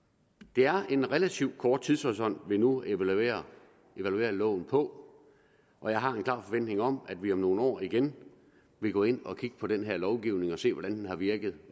det er en relativt kort tidshorisont vi nu evaluerer loven på og jeg har en klar forventning om at vi om nogle år igen vil gå ind og kigge på den her lovgivning og se hvordan den har virket